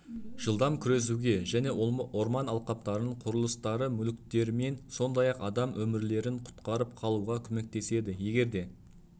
жылдам күресуге және орман алқаптарын құрылыстары мүліктермен сондай ақ адам өмірлерін құтқарып қалуға көмектеседі егерде